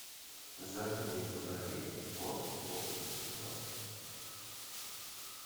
задние фонари форд фокус два